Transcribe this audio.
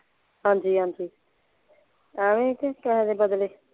ਹਾਂਜੀ ਹਾਂਜੀ ਐਵੇਂ ਹੀ ਕੇ ਕਿਸੇ ਦੇ ਬਦਲੇ।